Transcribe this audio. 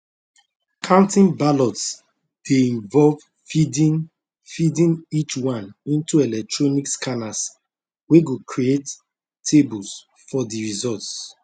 counting ballots dey involve feeding feeding each one into electronic scanners wey go create tables for di results